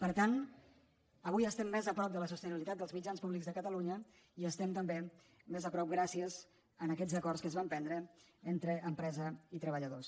per tant avui estem més a prop de la sostenibilitat dels mitjans públics de catalunya i hi estem també més a prop gràcies a aquests acords que es van prendre entre empresa i treballadors